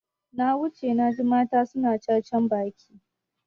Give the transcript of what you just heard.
Na wuce naji mata suna cacan baki.